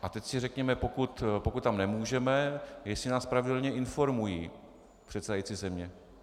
A teď si řekněme, pokud tam nemůžeme, jestli nás pravidelně informují předsedající země.